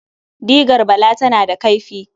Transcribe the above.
Digar Bala tana da kaifi.